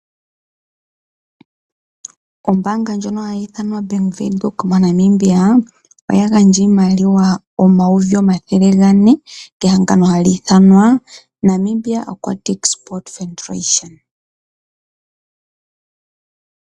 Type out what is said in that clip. Ombaanga ndjono hayi ithanwa Bank Windhoek moNamibia oya gandja iimaliwa N$400000 kehangano hali ithanwa Namibia Aquatic Sport Federation.